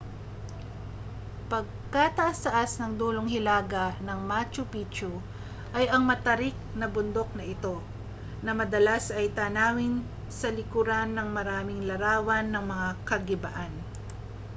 pagkataas-taas sa dulong hilaga ng macchu picchu ay ang matarik na bundok na ito na madalas ay tanawin sa likuran ng maraming larawan ng mga kagibaan